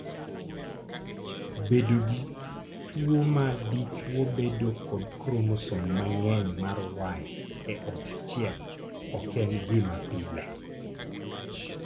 Bedo gi tuwo ma dichwo bedo kod kromosom mang'eny mar Y e ot achiel ok en gima pile.